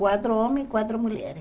Quatro homens e quatro mulheres.